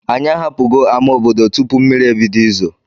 Anyị ahapụgo ama obodo tupu mmiri ebido izo.